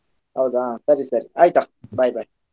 ಹೌದಾ ಸರಿ ಸರಿ ಆಯ್ತಾ Bye bye .